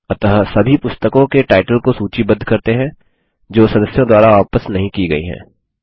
अतः सभी पुस्तकों के टाइटल को सूचीबद्ध करते हैं जो सदस्यों द्वारा वापस नहीं की गई हैं